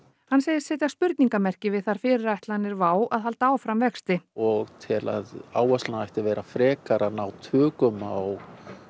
hann segist setja spurningamerki við þær fyrirætlanir Wow að halda áfram vexti og tel að áherslan ætti að vera frekar að ná tökum á